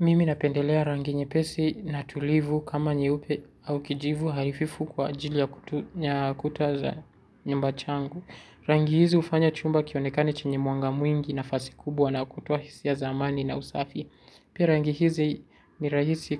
Mimi napendelea rangi nyepesi na tulivu kama nyeupe au kijivu hafifu kwa ajili ya kuta za nyumba changu. Rangi hizi hufanya chumba kionekane chenye mwanga mwingi nafasi kubwa na kutoa hisia za amani na usafi. Pia rangi hizi ni rahisi